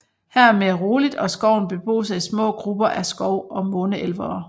Her er mere roligt og skoven beboes af små grupper af skov og måne elvere